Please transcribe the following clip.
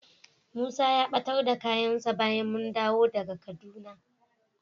Musa ya ɓatar da kayansa bayan mun dawo daga Kaduna.